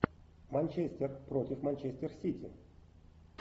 манчестер против манчестер сити